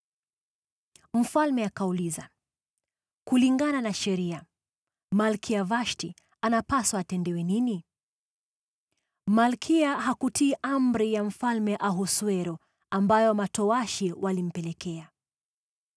Mfalme akauliza, “Kulingana na sheria, Malkia Vashti anapaswa kutendewa nini? Malkia hakutii amri ya Mfalme Ahasuero ambayo matowashi walimpelekea.”